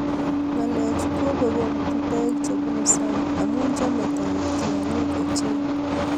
Ngalechu kobek komutu toek che bunu sang amu chamei toek tiong'ik ochei